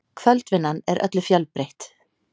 Kvöldvinnan er öllu fjölbreytt